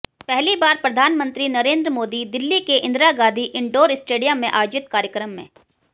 पहली बार प्रधानमंत्री नरेंद्र मोदी दिल्ली के इंदिरा गांधी इनडोर स्टेडियम में आयोजित कार्यक्रम में